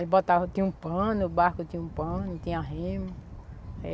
Eles botavam, tinha um pano, o barco tinha um pano, tinha remo.